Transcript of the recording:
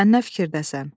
Sən nə fikirdəsən?